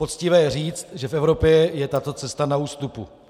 Poctivé je říct, že v Evropě je tato cesta na ústupu.